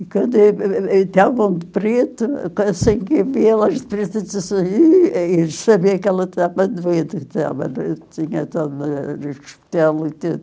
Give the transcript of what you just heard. E quando e e e de preto, assim que vi elas de preto, eu disse assim, e e eles sabiam que ela estava doida, que estava hospital e tudo.